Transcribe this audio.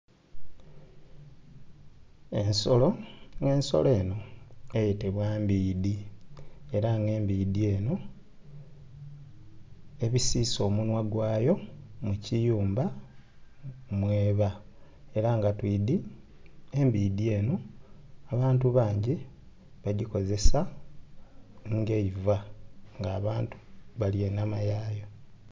Ensolo nga ensolo eno eyetebwa mbbidhi era nga embbidgi eno ebisisa omunhwa gwaayo mu kiyumba mweeba era nga twidhi embbidhi eno abantu bangi bagikozesa nga eivaa, nga abantu balya enhama yaayo.